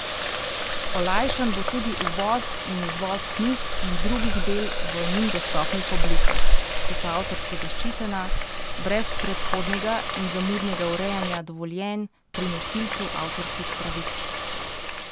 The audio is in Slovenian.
Olajšan bo tudi uvoz in izvoz knjig in drugih del v njim dostopnih oblikah, ki so avtorsko zaščitena, brez predhodnega in zamudnega urejanja dovoljenj pri nosilcu avtorskih pravic.